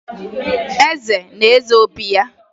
Eze na-eze obi ya.